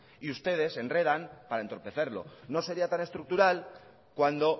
y ustedes enredan para entorpecerlo no sería tan estructural cuando